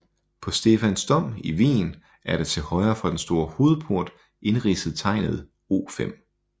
På Stephansdom i Wien er der til højre for den store hovedport indridset tegnet O5